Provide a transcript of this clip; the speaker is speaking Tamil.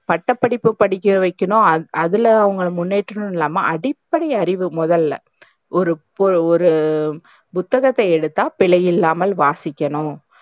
பட்டப்படிப்பு படிக்க வக்கணும் அது அதுல அவங்கள முன்னேற்றனும் இல்லாம அடிப்படை அறிவு மொதல்ல ஒரு போ ஒரு புத்தகத்தை எடுத்தா பிழையில்லாம வாசிக்கணும்